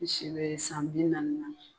N si be san bi naani na